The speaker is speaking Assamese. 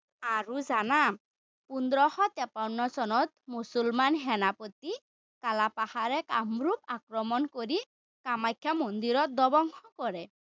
আৰু জানা, পোন্ধৰশ-ত্ৰেপন্ন চনত মুছলমান সেনাপতি কালাপাহাৰে কামৰূপ আক্ৰমণ কৰি কামাখ্যা মন্দিৰত ধ্বংস কৰে।